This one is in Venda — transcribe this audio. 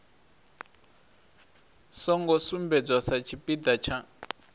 songo sumbedzwa sa tshipiḓa tsha